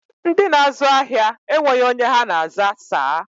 Ndị na-azụ ahịa enweghị onye ha na-aza saa